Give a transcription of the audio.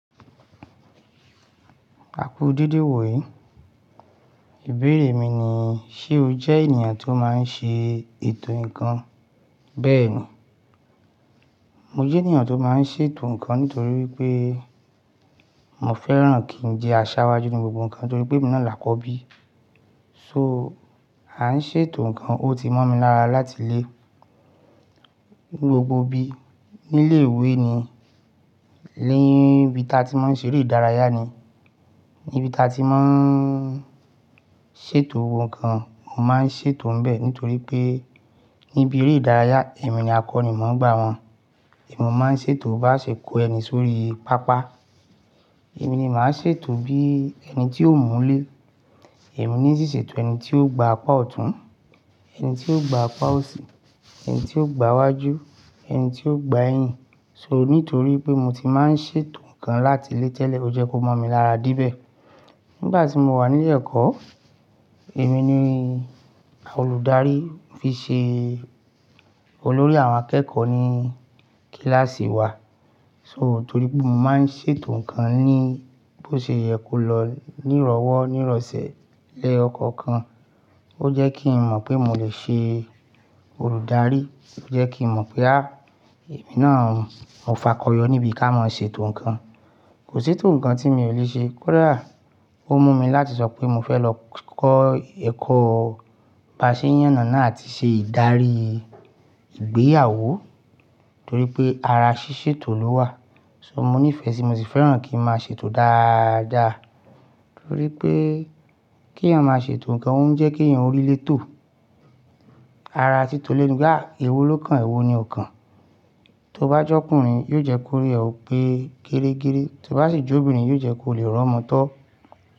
Àku dedé iwo yi. Ìbéèrè mi ni, ṣe o jẹ ènìyàn tó máa ń ṣe ètò ǹkan? Bẹ́ẹ̀ ni, mo jẹ ènìyàn tó máa ń ṣe ètò ǹkan nítorí pé mo fẹ́ràn kí n je aṣáwájú ní gbogbo ǹkan torí pé èmi náà là kọ́ bí. So, à ń ṣe ètò ǹkan, ó ti mọ̀ mi lára láti lé gbogbo bí. Nílé ìwé ni, níbi tí a ti máa ń ṣe eré ìdárayá ni, níbi tí a ti máa ń ṣe ètò ohun kan, mo máa ń ṣe ètò ń bẹ́ẹ̀ nítorí pé níbi eré ìdárayá, èmi ni akọni máa ń gbà wọn. Èmi mo ma ń ṣe ètò bá ṣe kó ẹni sórí pápá. Èmi ni màá ṣe ètò bí ẹni tí o múlé. Èmi ní ṣíṣètò ẹni tí ó gba àpá ọ̀tún, ẹni tí ó gba àpá òsì, ẹni tí ó gba iwájú, ẹni tí ó gba ẹ̀yìn. So, nítorí pé mo ti máa ń ṣe ètò ǹkan láti lé tẹ́lẹ̀, ó jẹ́ kó mọ̀ mí lára debẹ̀. Nígbà tí mo wà nílé ẹ̀kọ́, èmi ni olùdarí fi ṣe olórí àwọn akẹ́kọ̀ọ́ ní kíláàsì wa. So, torí pé mo máa ń ṣe ètò ǹkan ní bó ṣe yẹ kó lọ nírọ̀wọ́, nírọ̀sẹ̀ lẹyo kọkan, ó jẹ́ kí n mọ̀ pé mo lè ṣe olùdarí, ó jẹ́ kí n mọ̀ pé, à, èmi náà Mo fakọyọ níbi ká máa ṣe ètò ǹkan. Kò sí ètò ǹkan tí mi ò lè ṣe. Kódà ó mú mi láti sọ pé mo fẹ́ lọ kọ́ ẹ̀kọ́ bàṣẹ́ yànánà àti ṣe ìdarí ìgbéyàwó torí pé ara ṣíṣètò ló wà. So, mo nífẹ̀ẹ́ sí, mo sì fẹ́ràn kí n máa ṣe ètò dáadáa torí pé kí ènìyàn máa ṣe ètò ǹkan ó ń jẹ́ kí ènìyàn orí lé tò. Ara títọ́ lẹ ni. À, èwo ló kan èwo ni o kan. Tó bá jẹ́ ọkùnrin, yóò jẹ́ kó rí ẹ ò pé gerégeré. Tí ó bá sì jú obìnrin, yóò jẹ́ kó lè rọ̀ mọ́ tọ́.